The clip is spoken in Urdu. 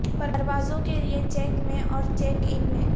پروازوں کے لئے چیک میں اور چیک ان میں